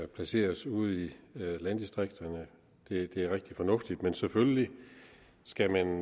placeres ude i landdistrikterne er rigtig fornuftigt men selvfølgelig skal man